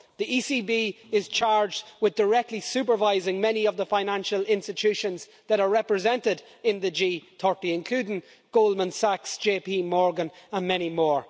The ECB is charged with directly supervising many of the financial institutions that are represented in the G30, including Goldman Sachs, JP Morgan and many more.